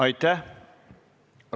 Aitäh!